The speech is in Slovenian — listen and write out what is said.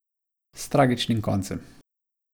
S tragičnim koncem.